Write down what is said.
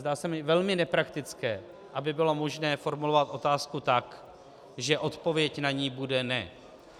Zdá se mi velmi nepraktické, aby bylo možné formulovat otázku tak, že odpověď na ni bude ne.